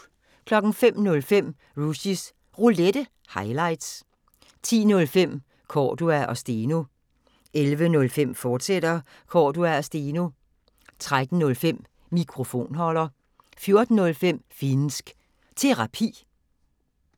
05:05: Rushys Roulette – highlights 10:05: Cordua & Steno 11:05: Cordua & Steno, fortsat 13:05: Mikrofonholder 14:05: Finnsk Terapi